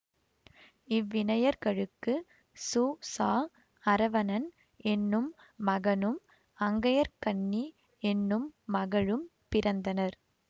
இவ்விணையர்களுக்கு சு ச அறவணன் என்னும் மகனும் அங்கயற்கண்ணி என்னும் மகளும் பிறந்தனர்